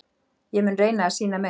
Ég mun reyna að sýna meira.